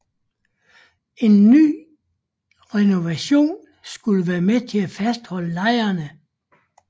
En ny renovation skulle være med til at fastholde lejerne